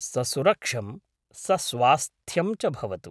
ससुरक्षं सस्वास्थ्यं च भवतु।